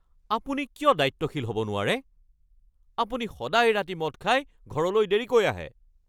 আপুনি কিয় দায়িত্বশীল হ’ব নোৱাৰে? আপুনি সদায় ৰাতি মদ খাই ঘৰলৈ দেৰিকৈ আহে।